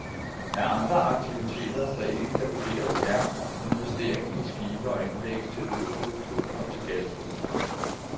Af andre aktiver, der ikke kan vurderes, er investeringen i skibe og anlæg til olieproduktion og til gasproduktion.